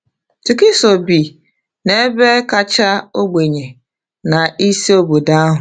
Tukiso bi n’ebe kacha ogbenye na isi obodo ahụ.